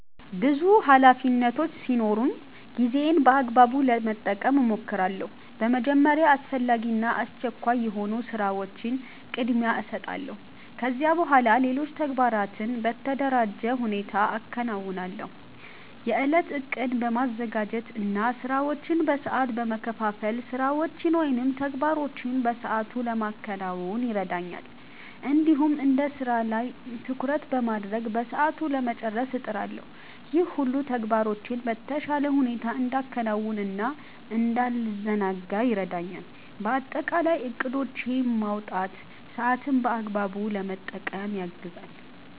ብዙ ኃላፊነቶች ሲኖሩኝ ጊዜዬን በአግባቡ ለመጠቀም እሞክራለሁ። በመጀመሪያ አስፈላጊ እና አስቸኳይ የሆኑ ስራዎችን ቅድሚያ እሰጣለሁ። ከዚያ በኋላ ሌሎች ተግባራትን በተደራጀ ሁኔታ አከናውናለሁ። የእለት እቅድ በማዘጋጀት እና ስራዎችን በሰዓት በመከፋፈል ስራዎችን ወይም ተግባሮችን በሰአቱ ለማከናወን ይረዳኛል። እንዲሁም አንድ ስራ ላይ ትኩረት በማድረግ በሰዓቱ ለመጨረስ እጥራለሁ። ይህ ሁሉ ተግባራቶቼን በተሻለ ሁኔታ እንዳከናውን እና እንዳልዘናጋ ይረዳኛል። በአጠቃላይ እቅዶችን ማውጣት ሰአትን በአግባቡ ለመጠቀም ያግዛል።